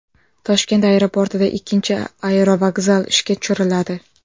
Toshkent aeroportida ikkinchi aerovokzal ishga tushiriladi.